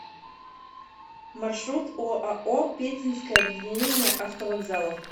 маршрут оао пензенское объединение автовокзалов